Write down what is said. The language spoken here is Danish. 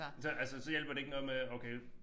Det altså så hjælper det ikke noget med okay